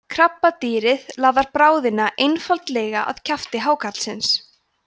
krabbadýrið laðar bráðina einfaldlega að kjafti hákarlsins